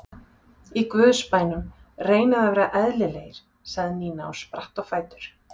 Í Guðs bænum reynið að vera eðlilegir sagði Nína og spratt á fætur.